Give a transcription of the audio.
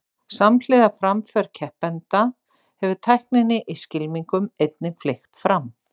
Samhliða framför keppenda hefur tækninni í skylmingum einnig fleygt fram.